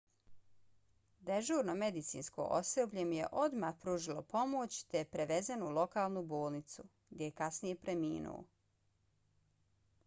dežurno medicinsko osoblje mu je odmah pružilo pomoć te je prevezen u lokalnu bolnicu gdje je kasnije preminuo